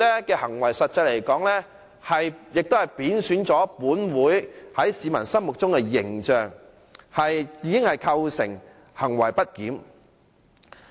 因此，實際上，他的行為貶損了立法會在市民心中的形象，已經構成行為不檢。